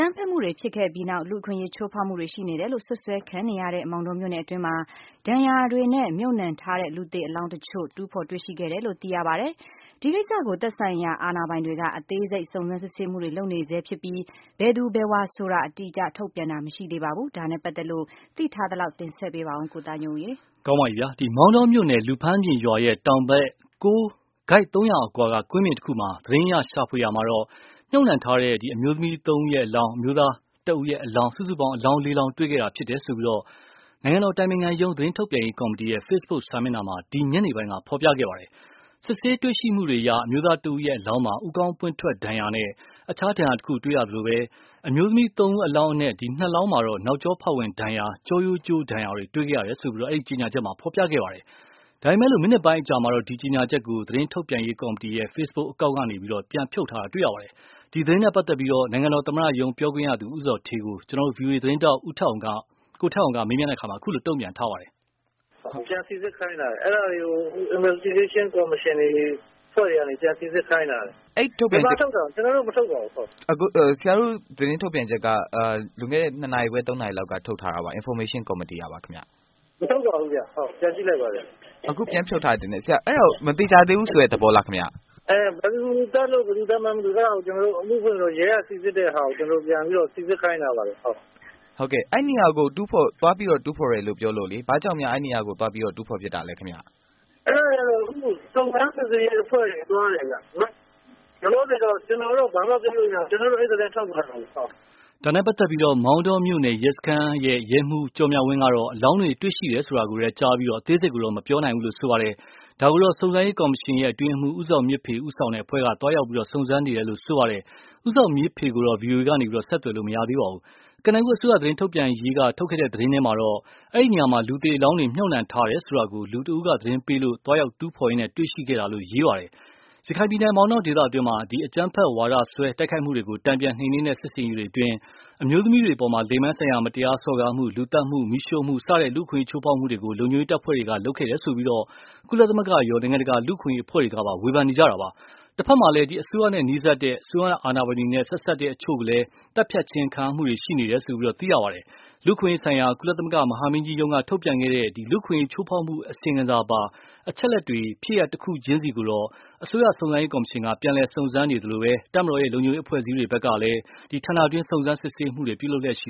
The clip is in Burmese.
မ်းဖက်မှုတွေဖြစ်ခဲ့ပြီးနောက် လူ့အခွင့်အရေးချိုးဖောက်မှုတွေရှိနေတယ်လို့ စွပ်စွဲခံနေရတဲ့ မောင်တောမြို့နယ်အတွင်းမှာ ဒဏ်ရာနဲ့မြေမြုပ်ထားတဲ့အလောင်းအချို့ကို တူးဖော်တွေ့ရှိခဲ့တယ်လို့ တာဝန်ရှိသူအချို့က ပြောပါတယ်။ ဒီကိစ္စကို သက်ဆိုင်ရာ အာဏာပိုင်တွေက အသေးစိတ်စုံစမ်းစစ်ဆေးမှုတွေလုပ်နေဆဲဖြစ်ပြီး ဘယ်သူဘယ်ဝါဆိုတာ အတိအကျ ထုတ်ပြန်တာ မရှိသေးပါဘူး။ ဒါနဲ့ ပတ်သက်လို့ ကိုသားညွန့်ဦး တင်ဆက်ထားပါတယ်။ မောင်တောမြို့နယ် လူဖမ်းပြင်ရွာရဲ့ တောင်ဘက် ကိုက် ၃၀၀ အကွာက ကွင်းပြင်တခုမှာ သတင်းအရ ရှာဖွေရာမှာ မြုပ်နှံထားတဲ့ အမျိုးသားအလောင်း ၁လောင်း၊ အမျိုးသမီး အလောင်း ၃ လောင်း စုစုပေါင်း လေးလောင်းတွေ့ခဲ့တာဖြစ်တယ် လို့ နိုင်ငံတော်အတိုင်ပင်ခံရုံးသတင်းထုတ်ပြန်ရေးကော်မတီရဲ့ ဖေစ်ဘုတ်စာမျက်နှာမှာ ဒီညနေပိုင်းက ဖော်ပြခဲ့ပါတယ်။ စစ်ဆေးတွေ့ရှိချက်တွေအရ အမျိုးသားတဦးရဲ့ အလောင်းမှာ ဦးခေါင်းပွင့်ထွက်ဒဏ်ရာနဲ့ အခြားဒဏ်ရာတခု တွေ့ရသလို၊ အမျိုးသမီး ၃ဦးအလောင်းအနက် နှစ်လောင်း မှာ နောက်ကျောဖောက်ဝင်ဒဏ်ရာ ကျောရိုးကျိုးဒဏ်ရာတွေ တွေ့ခဲ့တယ်လို့ အဲဒီ ကြေညာချက်မှာပဲ ဖော်ပြခဲ့ပါတယ်။ ဒါပေမယ့် မိနစ်ပိုင်းအကြာမှာတော့ ဒီ ကြေညာချက်ကို သတင်းထုတ်ပြန်ရေးကော်မတီ ရဲ့ ဖေ့ဘုတ်အကောင့် ကနေ ပြန်ဖြုတ်ခဲ့ပါတယ်။ ဒီ သတင်းနဲ့ပတ်သက်လို့ နိုင်ငံတော်သမ္မတရုံး ပြောခွင့်ရသူ ဦးဇော်ဌေးကို ဗွီအိုအေ သတင်းထောက် ကိုထက်အောင်က မေးမြန်းတော့ အခုလို တုံ့ပြန်ထားပါတယ်။ “ပြန်စိစစ်ခိုင်းထားတယ်၊ အဲဒါတွေကို စုံစမ်းရေးကော်မရှင် အဖွဲ့တွေကနေ ပြန်စိစစ် ခိုင်းထားတယ်၊ မေး။ ။ ဆရာတို့ သတင်းထုတ်ပြန်ချက်က လွန်ခဲ့တဲ့ ၂ နာရီခွဲ- ၃ နာရီလောက်က ထုတ်ထားတာပါ၊ information committee ကပါခင်ဗျ။ ဖြေ။ ။ ဘယ်မှာ ထုတ်တာလဲ ကျနော်တို့ မထုတ်ပါဘူး။ မထုတ်ပါဘူး ခင်ဗျ ပြန်ကြည့် လိုက်ပါခင်ဗျ။ မေး။ ။ အခု ပြန်ဖြုတ်ထားတယ်ထင်တယ်၊ အဲဒီတော့ မသေချာသေးဘူးဆိုတဲ့ သဘောများလားခင်ဗျ။ ဖြေ။ ။ ဘယ်သူသတ်လို့ ၊ ဘယ်သူသတ်မှန်းမသိဘူး အဲဒါကို ကျနော်တို့ အမှုဖွင့်ပြီးတော့ ရဲက စိစစ်တဲ့ဟာကို ကျနော်တို့ ပြန်ပြီးတော့ စိစစ်ခိုင်းထားပါတယ်။ မေး။ ။ အဲဒီနေရာကို သွားပြီးတော့ တူးဖော်တယ်လို့ပြောလို့လေ၊ ဘာကြောင့်များ အဲဒီနေရာကို သွားပြီးတော့ တူးဖော်ဖြစ်ခဲ့ရတာလဲခင်ဗျ။ ဖြေ။ ။ အဲဒါကတော့ စုံစမ်းစစ်ဆေးရေးအဖွဲ့တွေသွားတယ်ခင်ဗျ။ လောလောဆယ်တော့ ကျနော်တို့ ဘာမှ ပြောလို့မရဘူး။” ဒါနဲ့ပတ်သက်လို့ မောင်တောရဲစခန်းရဲမှုးကျော်မြဝင်းကတော့ အလောင်းတွေ တွေ့ရှိတယ် ဆိုတာပဲ ကြားပြီး အသေးစိတ်ကိုတော့ မပြောနိုင်ဘူးဆိုပါတယ်။ ဒါကို စုံစမ်းရေးကော်မရှင် အတွင်းရေးမှူး ဦးဇော်မြင့်ဖေဦးဆောင်တဲ့ အဖွဲ့က သွားရောက် စုံစမ်းနေတယ်လို့လည်း ပြောပါတယ်။ ဦးဇော်မြင့်ဖေကိုတော့ ဗွီအိုအေက ဆက်သွယ်လို့ မရပါဘူး။ ကနဦး အစိုးရသတင်းထုတ်ပြန်ရေးက ထုတ်ခဲ့တဲ့သတင်းမှာတော့ အဲဒီနေရာမှာ လူသေအလောင်းတွေ မြုပ်နှံထားတယ်ဆိုတာကို လူတဦးက သတင်းပေးလို့ သွားရောက် တူးဖော်ရင်းတွေ့ရှိခဲ့တာလို့ ရေးပါတယ်။ ရခိုင်ပြည်နယ် မောင်တောဒေသတွင်း အကြမ်းဖက် ဝါဒစွဲ တိုက်ခိုက်မှုတွေကို တန်ပြန်နှိမ်နင်းတဲ့ စစ်ဆင်ရေးအတွင်း အမျိုးသမီးတွေအပေါ် လိင်ပိုင်းဆိုင်ရာမတရားစော်ကားမှု၊ လူသတ်မှု၊ မီးရှိုှုမှု စတဲ့ လူ့အခွင့်အရေးချိုးဖောက်မှုတွေ ရှိခဲ့တယ်ဆိုပြီး ကုလသမဂ္ဂရော နိုင်ငံတကာ လူ့အခွင့်အရေးအဖွဲ့တွေကပါ ဝေဖန်နေကြတာပါ။ တဘက်မှာလည်း အစိုးရနဲ့နီးစပ်တဲ့ အစိုးရအာဏာပိုင်တွေနဲ့ဆက်နွယ်တဲ့ ဒေသခံအချို့ သတ်ဖြတ်ခံရမှုတွေလည်း ရှိနေတာပါ။ လူ့အခွင့်အရေးဆိုင်ရာ ကုလသမဂ္ဂ မဟာမင်းကြီးရုံးက ထုတ်ပြန်တဲ့ လူ့အခွင့်အရေးချိုးဖောက်မှုအစီရင်ခံစာပါ အချက်အလက်တွေ ကိုတော့ ဖြစ်ရပ်တခုချင်းကို အစိုးရ စုံစမ်းရေးကော်မရှင် က ပြန်လည်စုံစမ်းနေသလို၊ တပ်မတော် ရဲ လုံခြုံရေးအဖွဲ့အစည်းတွေကလည်း ဌာနတွင်း စုံစမ်းစစ်ဆေးမှုတွေ ပြုလုပ်လျှက်ရှိ